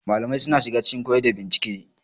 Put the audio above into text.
Malamai suna shiga cikin koyarwa da bincike.